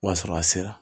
O y'a sɔrɔ a sera